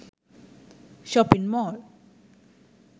shopping mall